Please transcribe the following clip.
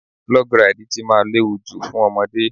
Log Ride tí máa léwu jù fún ọmọdé.